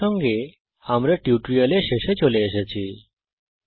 এর সঙ্গে আমরা এই টিউটোরিয়ালের শেষে চলে এসেছি